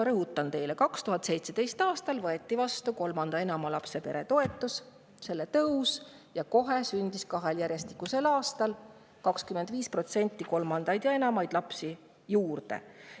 Rõhutan: 2017. aastal kolmanda ja enama lapse peretoetus, see tõusis, ja kahel järjestikusel aastal sündis kolmandaid ja enamaid lapsi 25% rohkem.